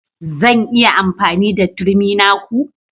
Zan iya yin amfani da turmi na ku?